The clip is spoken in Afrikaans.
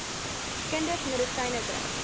kinders medisyne drink